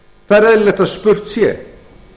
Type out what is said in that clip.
það er eðlilegt að spurt sé